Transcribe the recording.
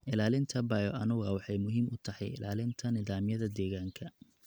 Ilaalinta bioanuwa waxay muhiim u tahay ilaalinta nidaamyada deegaanka.